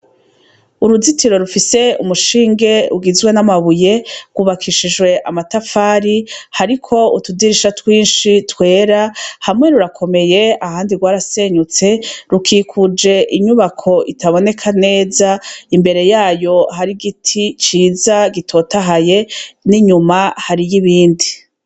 Uruzitiro rufise umushinge ugizwe n'amabuye, rwubakishijwe amatafari hariko utudirisha twinshi twera hamwe rurakomeye ahandi rwarasenyutse rukikuje inyubako itaboneka neza imbere yayo hariho igiti ciza gitotahaye n'iyuma hariyo ibindi.